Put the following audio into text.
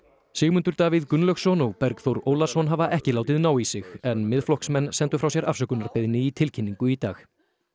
Sigmundur Davíð Gunnlaugsson og Bergþór Ólason hafa ekki látið ná í sig í en Miðflokksmenn sendu frá sér afsökunarbeiðni í tilkynningu í dag